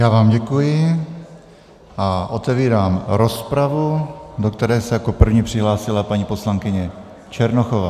Já vám děkuji a otevírám rozpravu, do které se jako první přihlásila paní poslankyně Černochová.